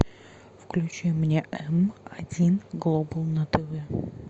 включи мне м один глобал на тв